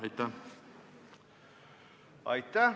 Aitäh!